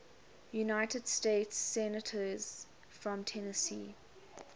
united states senators from tennessee